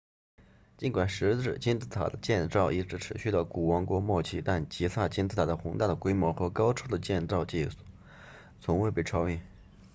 尽管石制金字塔的建造一直持续到古王国末期但吉萨金字塔的宏大的规模和高超的建造技术从未被超越